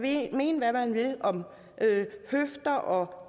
mene hvad man vil om rør om